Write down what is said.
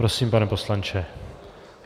Prosím, pane poslanče.